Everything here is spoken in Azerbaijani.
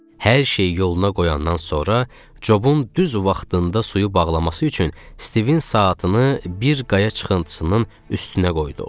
Hər şeyi yoluna qoyandan sonra, Cobun düz vaxtında suyu bağlaması üçün Stivin saatını bir qaya çıxıntısının üstünə qoyduq.